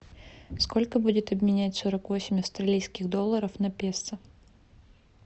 сколько будет обменять сорок восемь австралийских долларов на песо